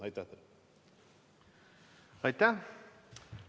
Aitäh!